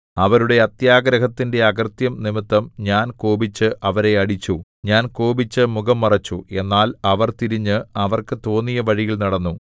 അവരുടെ അത്യാഗ്രഹത്തിന്റെ അകൃത്യം നിമിത്തം ഞാൻ കോപിച്ച് അവരെ അടിച്ചു ഞാൻ കോപിച്ചു മുഖം മറച്ചു എന്നാൽ അവർ തിരിഞ്ഞ് അവർക്ക് തോന്നിയ വഴിയിൽ നടന്നു